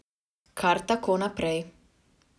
Kar tako naprej.